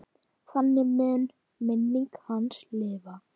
Þannig mun minning hans lifa.